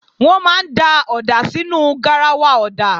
Wọ́n máa ń da ọ̀dà sínú garawa ọ̀dà